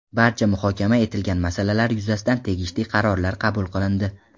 Barcha muhokama etilgan masalalar yuzasidan tegishli qarorlar qabul qilindi.